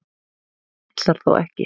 þú ætlar þó ekki.